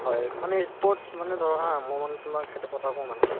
হয়, মানে ই sport মানে ধৰা মই মানে তোমাক এটা কথা কওঁ মানে